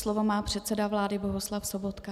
Slovo má předseda vlády Bohuslav Sobotka.